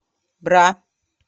бра